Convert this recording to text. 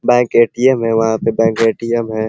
Bank ATM. है। वहाँ पे बैंक ए.टी.एम. है।